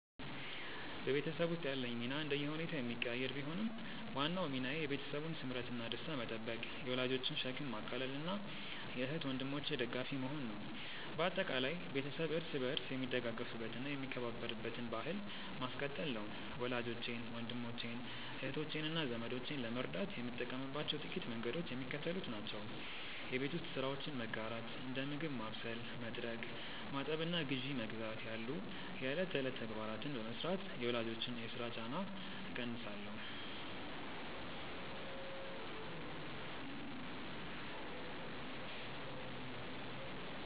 በቤተሰብ ውስጥ ያለኝ ሚና እንደየሁኔታው የሚቀያየር ቢሆንም፣ ዋናው ሚናዬ የቤተሰቡን ስምረትና ደስታ መጠበቅ፣ የወላጆችን ሸክም ማቃለልና የእህት ወንድሞቼ ደጋፊ መሆን ነው። በአጠቃላይ፣ ቤተሰብ እርስ በርስ የሚደጋገፍበትና የሚከባበርበትን ባሕል ማስቀጠል ነው። ወላጆቼን፣ ወንድሞቼን፣ እህቶቼንና ዘመዶቼን ለመርዳት የምጠቀምባቸው ጥቂት መንገዶች የሚከተሉት ናቸው የቤት ውስጥ ስራዎችን መጋራት፦ እንደ ምግብ ማብሰል፣ መጥረግ፣ ማጠብና ግዢ መግዛት ያሉ የዕለት ተዕለት ተግባራትን በመሥራት የወላጆችን የሥራ ጫና እቀንሳለሁ